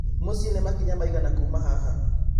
mũciĩ nĩ makinya maigana Kuma haha